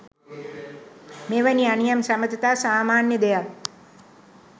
මෙවැනි අනියම් සබඳතා සාමාන්‍ය දෙයක්